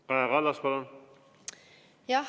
Kaja Kallas, palun!